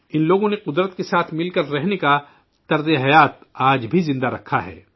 ان لوگوں نے قدرت کے ساتھ مل کر رہنے کے طرز زندگی کو آج بھی زندہ رکھا ہے